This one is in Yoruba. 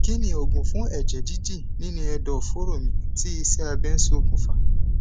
kí ni oògùn fun eje didi nínú ẹdọ foro mi tí ise abe sokun fa